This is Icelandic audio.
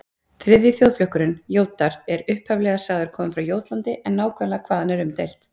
Þriðji þjóðflokkurinn, Jótar, er upphaflega sagður kominn frá Jótlandi en nákvæmlega hvaðan er umdeilt.